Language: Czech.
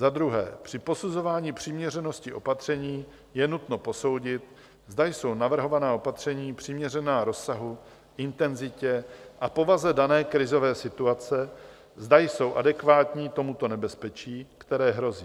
Za druhé při posuzování přiměřenosti opatření je nutno posoudit, zda jsou navrhovaná opatření přiměřená rozsahu, intenzitě a povaze dané krizové situace, zda jsou adekvátní tomuto nebezpečí, které hrozí.